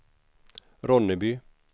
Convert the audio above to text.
Ronneby